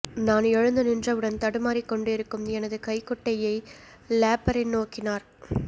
நான் எழுந்து நின்றவுடன் தடுமாறிக் கொண்டிருக்கும் எனது கைக்குட்டையை லேப்ரின் நோக்கினார்